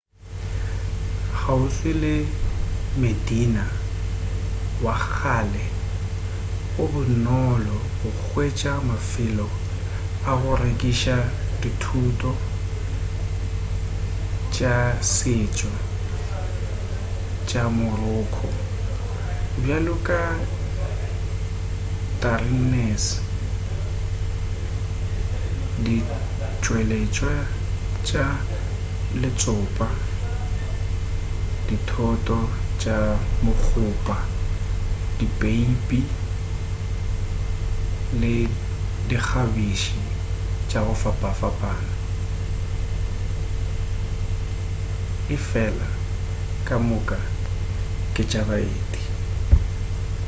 kgauswi le medina wa kgale go bonolo go hwetša mafelo a go rekiša dithoto tša setšo tša moroco bjalo ka tagines ditšweletšwa tša letsopa dithoto tša mokgopa dipeipi le dikgabiši tša go fapafapana efela ka moka ke tša baeti